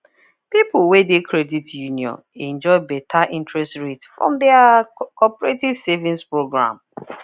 people wey de credit union enjoy better interest rate from their cooperative savings program